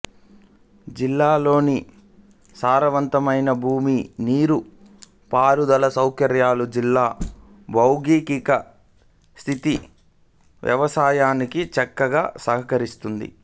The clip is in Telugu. జిల్లాలోని సారవంతమైన భూమి నీటి పారుదల సౌకర్యాలు జిల్లా భౌగోళిక స్థితి వ్యవసాయానికి చక్కగా సహకరిస్తున్నాయి